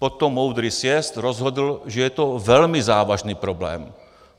Potom moudrý sjezd rozhodl, že je to velmi závažný problém.